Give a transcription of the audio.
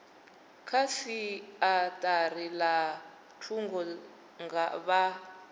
kha siaṱari ḽa thungo vha